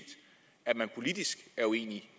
at man politisk er uenige